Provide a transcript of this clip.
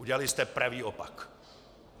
Udělali jste pravý opak!